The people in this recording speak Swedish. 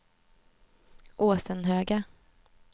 Åsenhöga